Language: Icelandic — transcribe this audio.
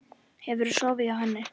Hefurðu sofið hjá henni?